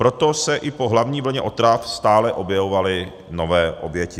Proto se i po hlavní vlně otrav stále objevovaly nové oběti.